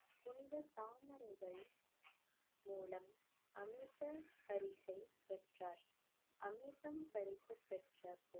புனித தாமரைகள் மூலம் அமிர்த பரிசை பெற்றார் அமிர்தம் பரிசு பெற்ற